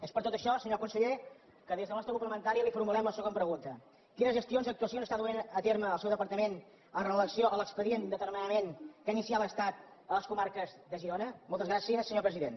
és per tot això senyor conseller que des del nostre grup parlamentari li formulem la següent pregunta quines gestions i actuacions està duent a terme el seu departament en relació amb l’expedient d’atermenament que ha iniciat l’estat a les comarques de girona moltes gràcies senyor president